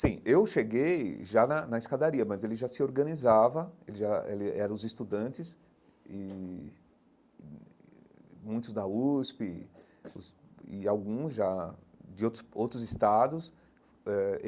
Sim, eu cheguei já na na escadaria, mas ele já se organizava, eles já ele eram os estudantes e, muitos da USP os e alguns já de outros outros estados eh.